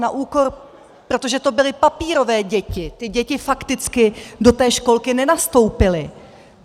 Na úkor - protože to byly papírové děti, ty děti fakticky do té školky nenastoupily.